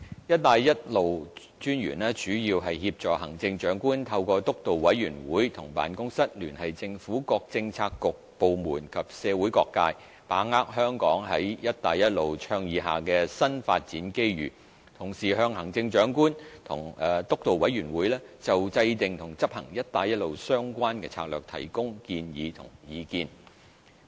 "一帶一路"專員主要協助行政長官透過督導委員會和辦公室聯繫政府各政策局/部門及社會各界，把握香港在"一帶一路"倡議下的新發展機遇，同時向行政長官和督導委員會就制訂和執行"一帶一路"相關策略提供建議和意見。